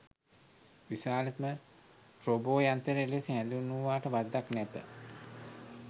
විශාලතම රෝබෝ යන්ත්‍රය ලෙස හැඳින්වූවාට වරදක් නැත.